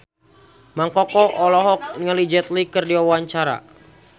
Mang Koko olohok ningali Jet Li keur diwawancara